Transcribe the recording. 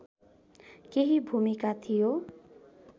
केही भूमिका थियो